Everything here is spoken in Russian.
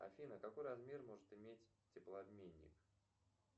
афина какой размер может иметь теплообменник